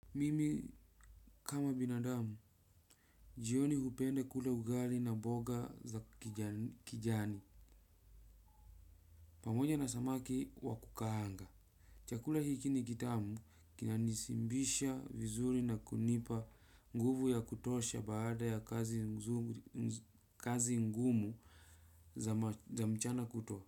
Mimi kama binadamu, jioni hupenda kula ugali na mboga za kijani, pamoja na samaki wa kukaanga. Chakula hiki ni kitamu, kinanishibisha vizuri na kunipa nguvu ya kutosha baada ya kazi ngumu za mchana kutwa.